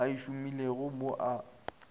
a e šomilego mo a